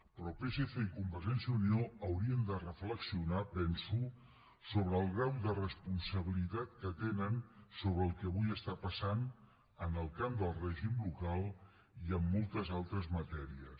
però psc i convergència i unió haurien de reflexionar penso sobre el grau de responsabilitat que tenen sobre el que avui està passant en el camp del règim local i amb moltes altres matèries